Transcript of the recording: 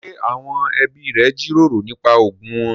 Ṣé àwọn ẹbí rẹ jíròrò nípa ogún wọn?